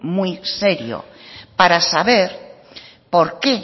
muy serio para saber por qué